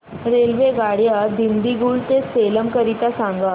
रेल्वेगाड्या दिंडीगुल ते सेलम करीता सांगा